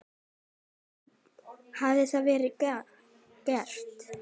Gunnar: Hefur það verið gert?